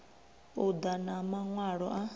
u ḓa na maṅwalo a